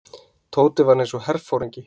Tóti var eins og herforingi.